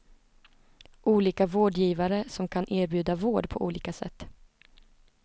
Olika vårdgivare som kan erbjuda vård på olika sätt.